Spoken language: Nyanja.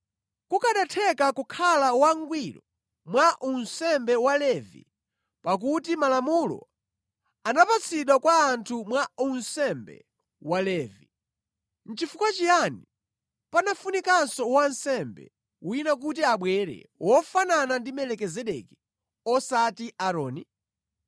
Kukanatheka kukhala wangwiro mwa unsembe wa Levi, pakuti Malamulo anapatsidwa kwa anthu mwa unsembe wa Levi, nʼchifukwa chiyani panafunikanso wansembe wina kuti abwere, wofanana ndi Melikizedeki, osati Aaroni?